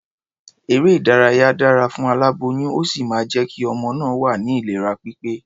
Eré-ìdárayá dára fún aláboyún, ó sì máa jẹ́ kí ọmọ náà wà ní ìlera pípé.